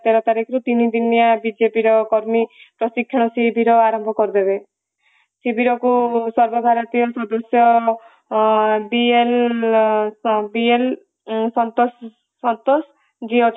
ତେର ତାରିଖରୁ ତିନି ଦିନିଆ ବିଜେପିର କର୍ମୀ ପ୍ରଶିକ୍ଷଣ ଶିବିର ଆରମ୍ଭ କରିଦେବେ । ଶିବିରକୁ ସର୍ବ ଭାରତୀୟ ପ୍ରଦର୍ଶ dn ସନ୍ତୋଷ dnସନ୍ତୋଷ ଯିଏ